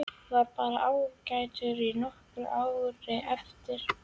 Var bara ágætur í nokkur ár á eftir.